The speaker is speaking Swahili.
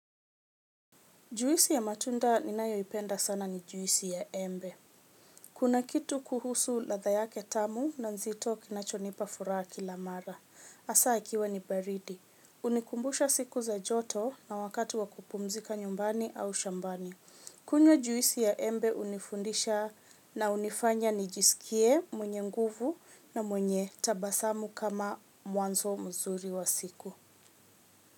Juisi ya matunda ninayoipenda sana ni juisi ya embe. Kuna kitu kuhusu ladha yake tamu na nzito kinachonipa furaha kila mara. Hasa ikiwa ni baridi. Unikumbusha siku za joto na wakati wa kupumzika nyumbani au shambani. Kunywa juisi ya embe hunifundisha na hunifanya nijisikie mwenye nguvu na mwenye tabasamu kama mwanzo mzuri wa siku.